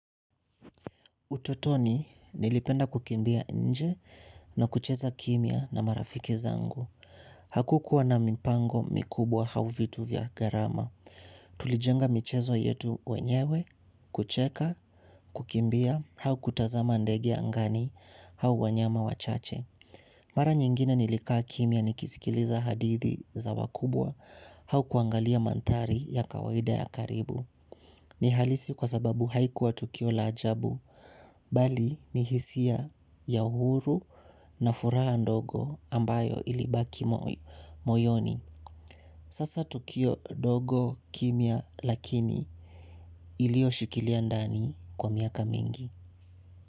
Utotoni, nilipenda kukimbia nje na kucheza kimia na marafiki zangu. Hakukua na mipango mikubwa au vitu vya gharama. Tulijenga michezo yetu wenyewe, kucheka, kukimbia, au kutazama ndegea ngani, au wanyama wachache. Mara nyingine nilikaa kimia ni kisikiliza hadithi za wakubwa, au kuangalia mandhari ya kawaida ya karibu. Ni halisi kwa sababu haikuwa tukio lajabu, bali ni hisia ya uhuru na furaha ndogo ambayo ilibaki moyoni. Sasa. Tukio ndogo kimia lakini iliyo shikilia ndani kwa miaka mingi.